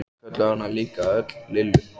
Þau kölluðu hana líka öll Lillu.